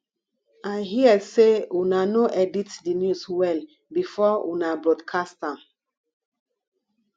i hear say una no edit the news well before una broadcast am